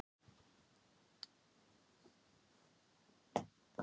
Það kviknaði á vasaljósi um hundrað metra í burtu.